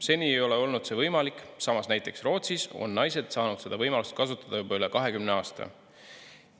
Seni ei ole olnud see võimalik, samas näiteks Rootsis on naised saanud seda võimalust kasutada juba üle 20 aasta.